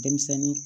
Denmisɛnnin